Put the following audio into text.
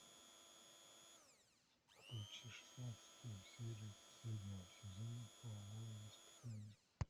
включи шестнадцатую серию последнего сезона половое воспитание